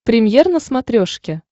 премьер на смотрешке